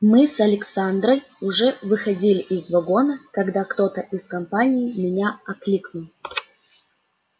мы с александрой уже выходили из вагона когда кто-то из компании меня окликнул